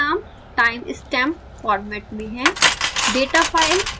data file का नाम time stamp format में है